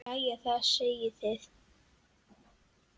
Jæja, hvað segið þið?